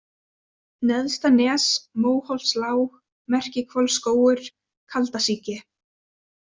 Neðstanes, Móholtslág, Merkihvolsskógur, Kaldasíki